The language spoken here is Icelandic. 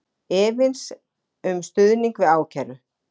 Efins um stuðning við ákæru